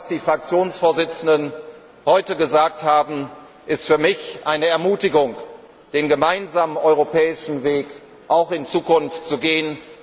Das, was die Fraktionsvorsitzenden heute gesagt haben, ist für mich eine Ermutigung, den gemeinsamen europäischen Weg auch in Zukunft zu gehen.